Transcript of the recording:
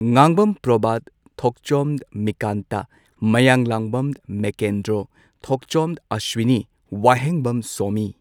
Ngangbam Provat Thokchom Mikanta Mayanglambam Mekendro Thongchom Aswini Wahengbam Somi